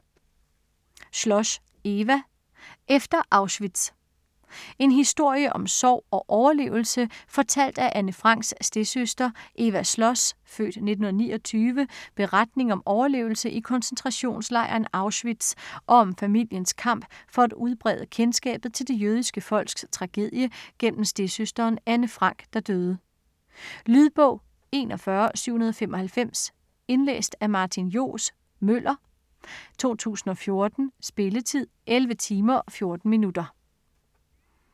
Schloss, Eva: Efter Auschwitz En historie om sorg og overlevelse fortalt af Anne Franks stedsøster. Eva Schloss' (f. 1929) beretning om overlevelse i koncentrationslejren Auschwitz, og om familiens kamp for at udbrede kendskabet til det jødiske folks tragedie gennem stedsøsteren Anne Frank, der døde. Lydbog 41795 Indlæst af Martin Johs. Møller, 2014. Spilletid: 11 timer, 14 minutter.